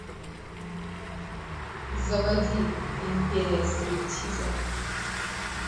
заводи империя стриптиза